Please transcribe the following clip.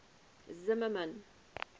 zimmermann